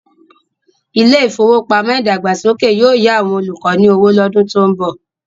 Ilé ìfowópamọ́ ìdàgbàsókè yóò yá àwọn olùkọ́ ní owó lọ́dún tó ń bọ̀.